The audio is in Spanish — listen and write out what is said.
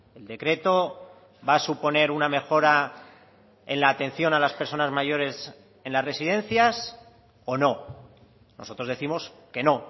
el decreto va a suponer una mejora en la atención a las personas mayores en las residencias o no nosotros décimos que no